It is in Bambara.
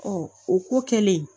o ko kɛlen